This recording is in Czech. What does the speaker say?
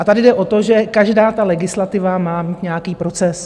A tady jde o to, že každá ta legislativa má mít nějaký proces.